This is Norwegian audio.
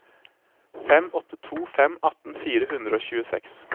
fem åtte to fem atten fire hundre og tjueseks